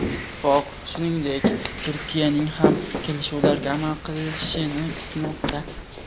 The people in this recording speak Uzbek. Ittifoq, shuningdek, Turkiyaning ham kelishuvlarga amal qilishini kutmoqda.